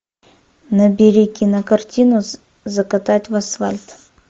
набери кинокартину закатать в асфальт